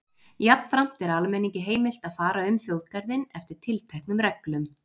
Jafnframt er almenningi heimilt að fara um þjóðgarðinn eftir tilteknum reglum.